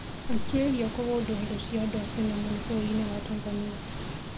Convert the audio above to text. Atuĩria kũgundũra indo cia andũ a tene mũno bũrũri-inĩ wa Tanzania